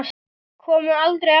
Koma aldrei aftur.